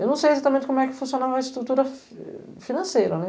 Eu não sei exatamente como é que funcionava a estrutura financeira, né?